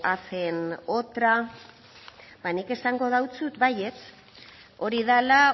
hacen otra nik esango deutsut baietz hori dela